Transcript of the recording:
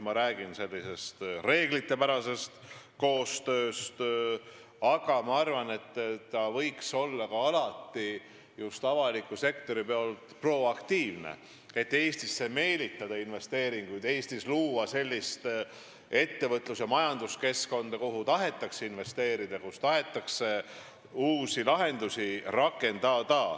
Ma räägin loomulikult reeglipärasest koostööst, mis võiks avaliku sektori poolt vaadatuna alati olla ka proaktiivne, et Eestisse investeeringuid meelitada, luua Eestis sellist ettevõtlus- ja majanduskeskkonda, kuhu tahetakse investeerida ja kus tahetakse uusi lahendusi rakendada.